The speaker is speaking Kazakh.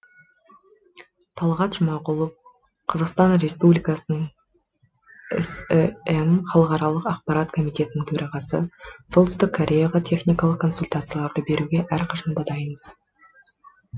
талғат жұмағұлов қазақстан республикасының сім халықаралық ақпарат комитетінің төрағасы солтүстік кореяға техникалық консультацияларды беруге әрқашанда дайынбыз